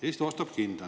Eesti ostab hinda.